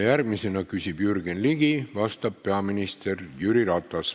Järgmisena küsib Jürgen Ligi, vastab peaminister Jüri Ratas.